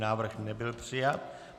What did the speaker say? Návrh nebyl přijat.